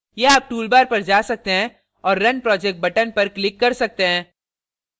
या आप toolbar पर जा सकते हैं और run project button पर click कर सकते हैं